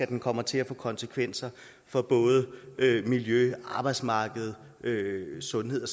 den kommer til at få konsekvenser for både miljø arbejdsmarked sundhed